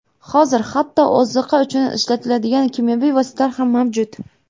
Hozir hatto oziqa uchun ishlatiladigan kimyoviy vositalar ham mavjud.